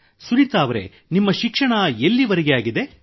ಸುನೀತಾ ಅವರೆ ನಿಮ್ಮ ಶಿಕ್ಷಣ ಎಲ್ಲಿವರೆಗೆ ಆಗಿದೆ